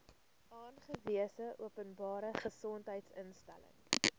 aangewese openbare gesondheidsinstelling